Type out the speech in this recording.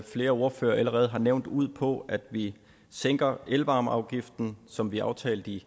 flere ordførere allerede har nævnt ud på at vi sænker elvarmeafgiften som vi aftalte i